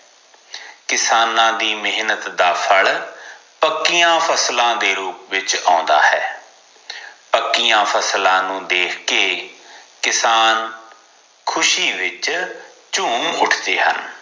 ਕਿਸਾਨਾਂ ਦੀ ਮਹਿਨਤ ਦਾ ਫਲ ਪੱਕੀਆਂ ਫਸਲਾਂ ਦੇ ਰੂਪ ਵਿਚ ਆਉਂਦਾ ਹੈ ਪੱਕੀਆਂ ਫਸਲਾਂ ਨੂੰ ਦੇਖ ਕੇ ਕਿਸਾਨ ਖੁਸ਼ੀ ਵਿਚ ਝੂਮ ਉਠਦੇ ਹਨ